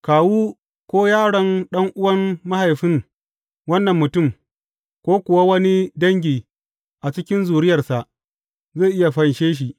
Kawu ko yaron ɗan’uwan mahaifin wannan mutum, ko kuwa wani dangi a cikin zuriyarsa, zai iya fanshe shi.